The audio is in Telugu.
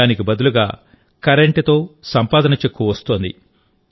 దానికి బదులుగా కరెంటుతో సంపాదన చెక్కు వస్తోంది